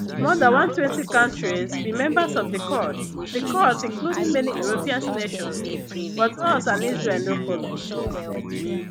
more dan 120 countries be members of di court di court including many european nations but us and israel no follow